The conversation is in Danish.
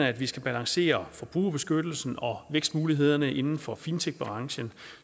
at vi skal balancere forbrugerbeskyttelsen og vækstmulighederne inden for fintechbranchen